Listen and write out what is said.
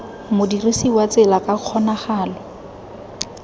modirisi wa tsela ka kgonagalo